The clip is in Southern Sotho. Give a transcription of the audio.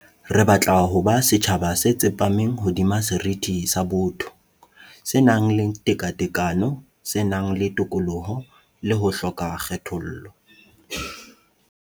Re batla ho ba setjhaba se tsepameng hodima seriti sa botho, se nang le tekatekano, se nang le tokoloho le ho hloka kgethollo.